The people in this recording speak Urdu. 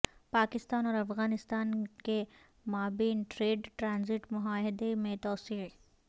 پاکستان اور افغانستان کے مابین ٹریڈ ٹرانزٹ معاہدے میں توسیع